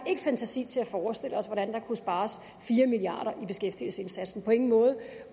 fantasi til at forestille os hvordan der kunne spares fire milliard i beskæftigelsesindsatsen på ingen måde